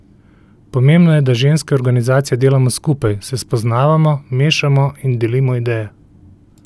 Pomembno je, da ženske organizacije delamo skupaj, se spoznavamo, mešamo in delimo ideje.